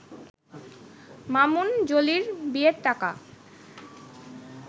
মামুন-জলির বিয়ের টাকা